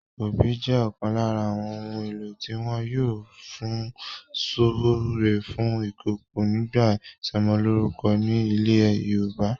Obì jẹ́ ọ̀kan lára àwọn ohun-èlò tí wọ́n yóò fun súre fún ìkòkò nígbà ìsọmọlórúkọ ni ilẹ̀ Yorùbá.